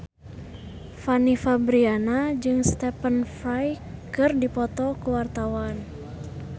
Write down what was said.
Fanny Fabriana jeung Stephen Fry keur dipoto ku wartawan